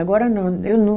Agora não. Eu